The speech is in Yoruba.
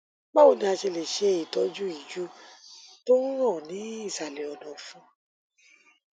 báwo ni a ṣe lè ṣe ìtọjú ìju tó ń ràn ní ìsàlẹ ọnàọfun